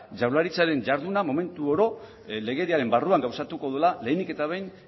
jaurlaritzaren jarduna momentu oro legediaren barruan gauzatuko dela lehenik eta behin